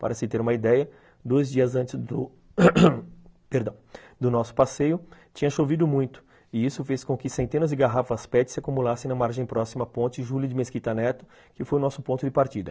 Para se ter uma ideia, dois dias antes do perdão, do nosso passeio tinha chovido muito e isso fez com que centenas de garrafas pete se acumulassem na margem próxima à ponte Júlio de Mesquita Neto, que foi o nosso ponto de partida.